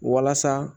Walasa